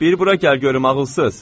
Bir bura gəl görüm ağılsız.